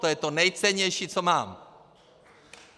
To je to nejcennější, co mám!